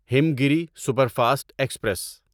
ہمگیری superfast express